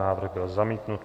Návrh byl zamítnut.